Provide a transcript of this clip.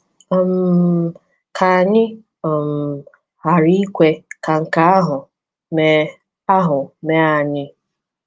um Ka anyị um ghara ikwe ka nke ahụ mee ahụ mee anyị!